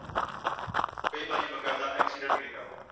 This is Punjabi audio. ਕਈ ਵਾਰੀ ਵਕੈਦਾ accident ਹੀ ਲਿਖਿਆ ਹੁੰਦਾ।